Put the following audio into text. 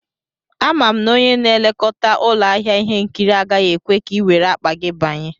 Ama m na onye na-elekọta ụlọ ahịa ihe nkiri agaghị ekwe ka i were akpa gị banye